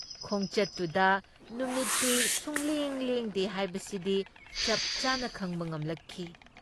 ꯈꯣꯡꯆꯠꯇꯨꯗ ꯅꯨꯃꯤꯠꯇꯤ ꯁꯨꯛꯂꯦꯡ ꯂꯦꯡꯗꯦ ꯍꯥꯏꯕꯁꯤꯗꯤ ꯆꯞꯆꯥꯅ ꯈꯪꯕ ꯉꯝꯂꯛꯈꯤ ꯫